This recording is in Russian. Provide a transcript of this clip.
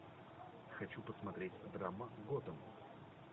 хочу посмотреть драма готэм